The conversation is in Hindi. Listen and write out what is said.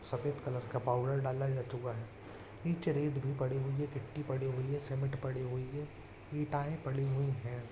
सफ़ेद कलर का पाउडर डाला जा चुका है नीचे रेत भी पड़ी हुई है गिट्टी पड़ी हुई है सीमेंट पड़ी हुई है ईंटाऐ पड़ी हुई है।